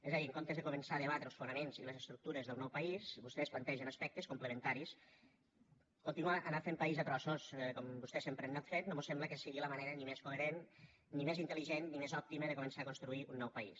és a dir en comptes de començar a debatre els fonaments i les estructures del nou país vostès plantegen aspectes complementaris continuar a anar fent país a trossos com vostès sempre han anat fent no mos sembla que sigui la manera ni més coherent ni més intel·ligent ni més òptima de començar a construir un nou país